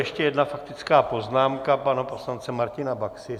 Ještě jedna faktická poznámka pana poslance Martina Baxy.